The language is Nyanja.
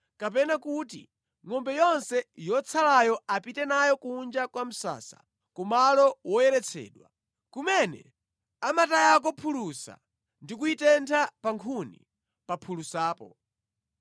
kapena kuti ngʼombe yonse yotsalayo apite nayo kunja kwa msasa ku malo woyeretsedwa, kumene amatayako phulusa ndi kuyitentha pa nkhuni, pa phulusapo.